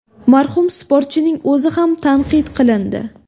Marhum sportchining o‘zi ham tanqid qilindi .